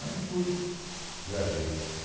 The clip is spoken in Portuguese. Aí fui, viajei.